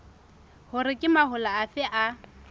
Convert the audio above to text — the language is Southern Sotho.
hore ke mahola afe a